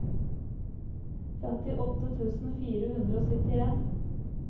femtiåtte tusen fire hundre og syttien